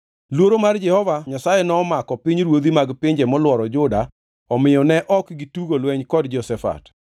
Luoro mar Jehova Nyasaye nomako pinyruodhi mag pinje molworo Juda, omiyo ne ok gitugo lweny kod Jehoshafat.